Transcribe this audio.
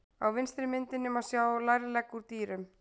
Á vinstri myndinni má sjá lærlegg úr dýrum.